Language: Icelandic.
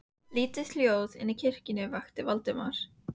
Lítið hljóð inni í kirkjunni vakti Valdimar.